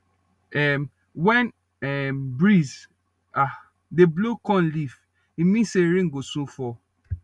um when um breeze ah dey blow corn leaf e mean say rain go soon fall